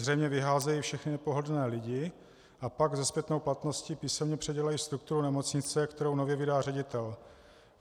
Zřejmě vyházejí všechny nepohodlné lidi a pak se zpětnou platností písemně předělají strukturu nemocnice, kterou nově vydá ředitel.